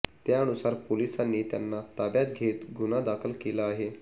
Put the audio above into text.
त्यानुसार पोलिसांनी त्यांना ताब्यात घेत गुन्हा दाखल केला आहे